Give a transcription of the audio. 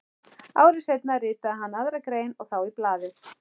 Ári seinna ritaði hann aðra grein og þá í blaðið